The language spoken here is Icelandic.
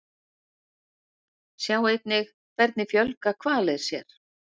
Sjá einnig Hvernig fjölga hvalir sér?